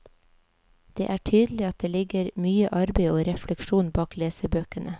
Det er tydelig at det ligger mye arbeid og refleksjon bak lesebøkene.